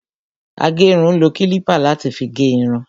Agérun ń lo kílípà láti fi gé irun